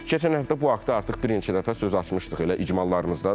Keçən həftə bu haqda artıq bir neçə dəfə söz açmışdıq, elə icmallarımızda da.